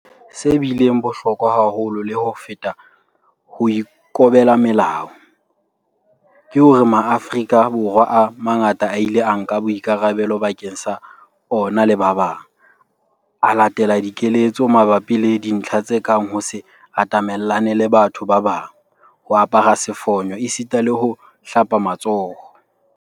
Se bileng bohlokwa haholo le ho feta ho ikobela melao, ke hore Maafrika Borwa a mangata a ile a nka boikarabelo bakeng sa ona le ba bang, a latela dikeletso mabapi le dintlha tse kang ho se atamellane le batho ba bang, ho apara sefonyo esitana le ho hlapa matsoho.